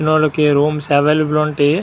ఇక్కడకి వచనవాళ్ళకి rooms available గా గా ఉంటాయి.